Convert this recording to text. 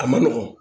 A ma nɔgɔn